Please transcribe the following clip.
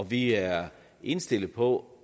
vi er indstillet på